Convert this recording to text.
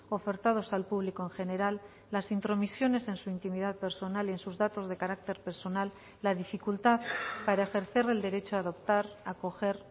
ofertados al público en general las intromisiones en su intimidad personal y en sus datos de carácter personal la dificultad para ejercer el derecho a adoptar a acoger